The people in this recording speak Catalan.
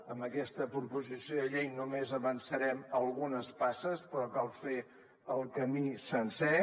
amb aquesta proposició de llei només avançarem algunes passes però cal fer el camí sencer